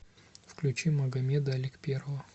включи магомеда аликперова